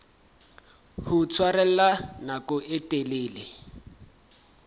ho tshwarella nako e telele